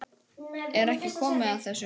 Er ekki komið að þessu?